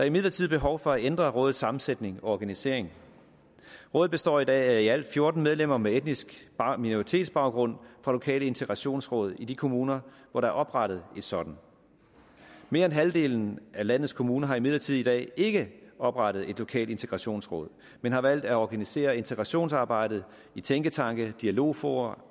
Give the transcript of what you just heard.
imidlertid behov for at ændre rådets sammensætning og organisering rådet består i dag af i alt fjorten medlemmer med etnisk minoritetsbaggrund fra lokale integrationsråd i de kommuner hvor der er oprettet et sådant mere end halvdelen af landets kommuner har imidlertid i dag ikke oprettet et lokalt integrationsråd men har valgt at organisere integrationsarbejdet i tænketanke dialogfora